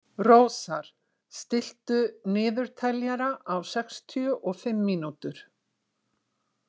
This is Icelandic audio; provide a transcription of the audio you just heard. Rósar, stilltu niðurteljara á sextíu og fimm mínútur.